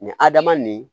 Nin hadama nin